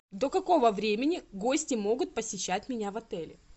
до какого времени гости могут посещать меня в отеле